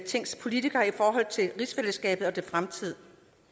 tings politikere til rigsfællesskabet og dets fremtid